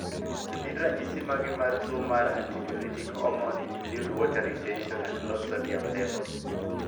To gin ranyisi mage mar tuo mar antidiuretic hormone include water retention and low sodium level.